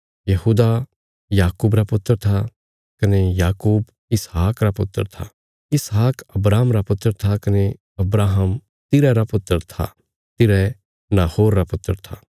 यहूदा याकूब रा पुत्र था कने याकूब इसहाक रा पुत्र था इसहाक अब्राहम रा पुत्र था कने अब्राहम तिरह रा पुत्र था तिरह नाहोर रा पुत्र था